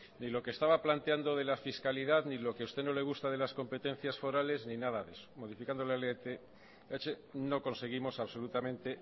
ni lo que estaba planteando de la fiscalidad ni lo que usted no le gusta de las competencias forales ni nada de eso modificando la lth no conseguimos absolutamente